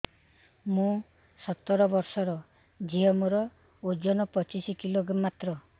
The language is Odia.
ମୁଁ ସତର ବୟସର ଝିଅ ମୋର ଓଜନ ପଚିଶି କିଲୋ ମାତ୍ର